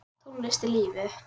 Tónlist er lífið!